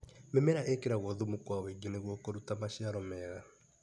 Mĩmera ĩkĩragwo thumu kwa wũingĩ nĩguo kũruta maciiaro mega.